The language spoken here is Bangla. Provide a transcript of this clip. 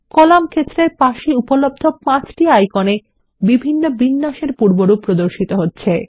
কলাম ক্ষেত্রের পাশে উপলব্ধ পাঁচটি আইকন এ বিভিন্ন বিন্যাসের পূর্বরূপ প্রদর্শিত হচ্ছে